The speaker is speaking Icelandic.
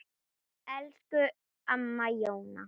Elsku amma Jóna.